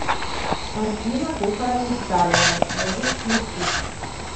картина похороны сталина можешь включить